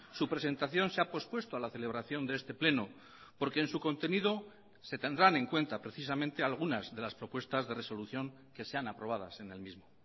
su presentación se ha pospuesto a la celebración de este pleno porque en su contenido se tendrán en cuenta precisamente algunas de las propuestas de resolución que sean aprobadas en el mismo